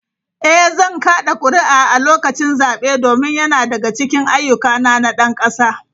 Eh, zan kada kuri’a a lokacin zabe domin yana daga cikin ayyukana na ɗan kasa.